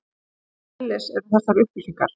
Hvers eðlis eru þessar upplýsingar?